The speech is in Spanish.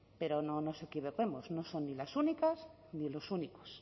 pero no no nos equivoquemos no son ni las únicas ni los únicos